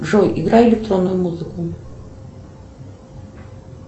джой играй электронную музыку